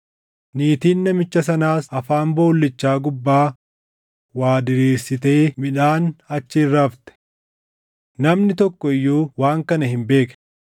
Niitiin namicha sanaas afaan boollichaa gubbaa waa diriirsitee midhaan achi irra afte. Namni tokko iyyuu waan kana hin beekne.